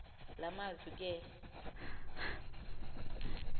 la mazwi ke